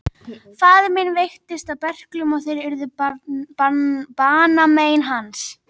Faðir minn veiktist af berklum og þeir urðu banamein hans.